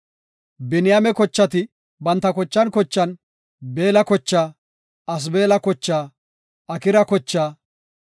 Biniyaame kochati banta kochan kochan, Beella kochaa, Asbeela kochaa, Akira kochaa,